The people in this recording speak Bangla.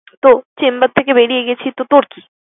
তো chamber থেকে বেরিয়ে গেছি তো তোর কি?